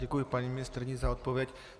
Děkuji paní ministryni za odpověď.